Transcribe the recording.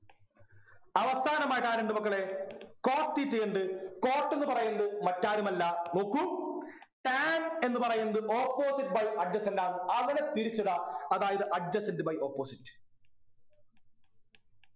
അവസാനമായിട്ട് ആരുണ്ട് മക്കളെ cot theta യുണ്ട് cot എന്ന് പറയുന്നത് മറ്റാരുമല്ല നോക്കൂ tan എന്ന് പറയുന്നത് opposite by adjacent ആണ് അതിനെ തിരിച്ചിടാ അതായത് adjacent by opposite